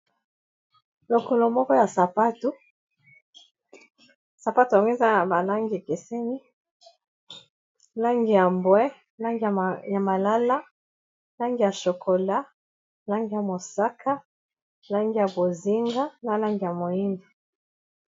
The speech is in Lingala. Lokolo moko ya sapato, sapato yango eza na ba langi ekesemi langi ya mbwe, langi ya malala, langi ya shokola, langi ya mosaka, langi ya bozinga na langi ya moyindo.